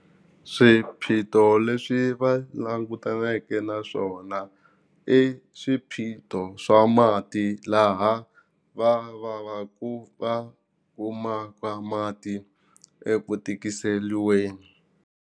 Swiphiqo leswi va langutaneke na swona i swiphiqo swa mati laha va va va ku va kumaka mati eku tikiseriweni.